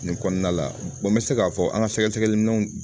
Nin kɔnɔna la n bɛ se k'a fɔ an ka sɛgɛsɛgɛli minɛnw